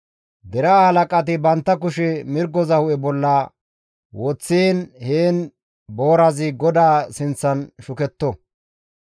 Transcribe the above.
Deraa halaqati bantta kushe mirgoza hu7e bolla woththiin heen boorazi GODAA sinththan shuketto.